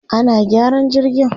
ana gyaran jirgin